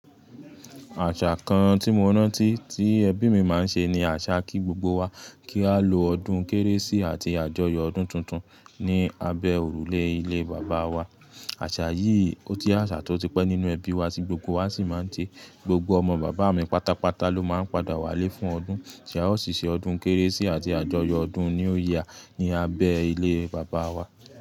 Àṣà kan tí mo rántí tí ẹbí mi máa ń ṣe ni àṣà kí gbogbo wa kí a lọ ọdún Kérésì ati àjọyọ̀ ọdún tuntun ni abẹ́ òrùlé ilé bàbá wa. Àṣà yìí òje àṣà tó ti pẹ́ nínú ẹbí wa tí gbogbo wa sì máa ń se. Gbogbo ọmọ bàbá mi pátápátá ló máa ń padà wálé fún ọdún. Ṣé a ó ṣì ṣe ọdún Kérésì ati àjọyọ̀ ọdún new year ní abẹ́ ilé bàbá wa?